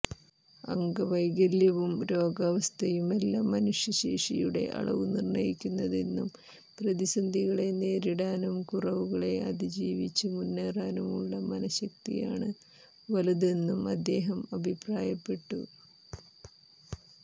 അംഗവൈകല്യവും രോഗാവസ്ഥയുമല്ല മനുഷ്യ ശേഷിയുടെ അളവു നിര്ണയിക്കുന്നതെന്നും പ്രതിസന്ധികളെ നേരിടാനും കുറവുകളെ അതീജീവിച്ച് മുന്നേറാനുമുള്ള മനശ്ശക്തിയാണ് വലുതെന്നും അദ്ദേഹം അഭിപ്രായപ്പെട്ടു